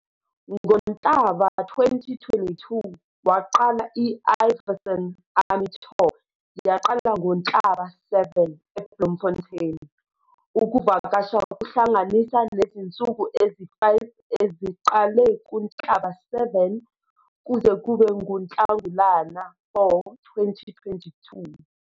NgoNhlaba 2022, waqala i-Ivyson Army Tour yaqala ngoNhlaba 7, Bloemfontein, ukuvakasha kuhlanganisa nezinsuku ezi-5 eziqale kuNhlaba 7 kuze kube nguNhlangulana 4, 2022.